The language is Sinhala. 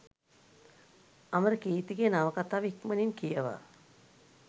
අමරකීර්තිගේ නවකතාව ඉක්මණින් කියවා